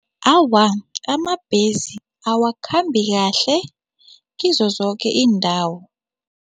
Awa, amabhesi awakhambi kahle kizo zoke iindawo.